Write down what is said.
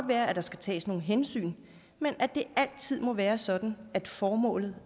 være at der skal tages nogle hensyn men at det altid må være sådan at formålet